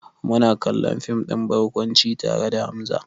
Muna kallon fim ɗin barkwanci tare da Hamza.